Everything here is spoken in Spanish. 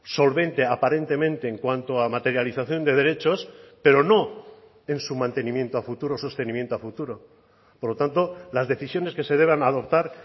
solvente aparentemente en cuanto a materialización de derechos pero no en su mantenimiento a futuro sostenimiento a futuro por lo tanto las decisiones que se deban adoptar